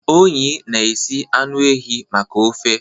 Onyi na-esi anụ ehi maka ofe.